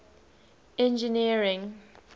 engineering